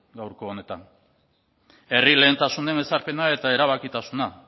gaurko honetan herri lehentasunen ezarpena eta erabakitasuna